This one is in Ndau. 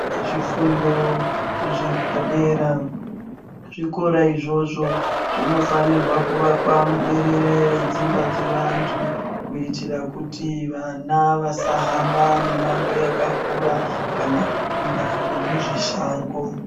Zvifundo zvepadera, zvikora izvozvo zvinofanirwa kuvakwa muberere redzimba dzevanthu kuitira kuti vana vasahamba mimango yakakura kana kupinda nemuzvishango.